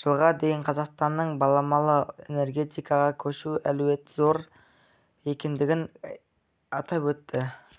жылға дейін қазақстанның баламалы энергетикаға көшу әлеуеті зор екендігін атап өтті